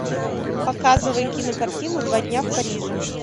показывай кинокартину два дня в париже